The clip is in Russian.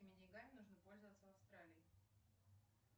какими деньгами нужно пользоваться в австралии